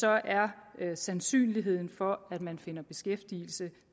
er sandsynligheden for at man finder beskæftigelse